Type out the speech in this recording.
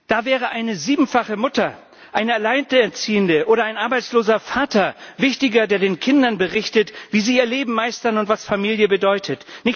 Da wäre eine siebenfache Mutter, eine Alleinerziehende oder ein arbeitsloser Vater wichtiger, die den Kindern berichten, wie sie ihr Leben meistern und was Familie bedeutet.